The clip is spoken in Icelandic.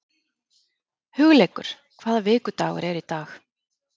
Hugleikur, hvaða vikudagur er í dag?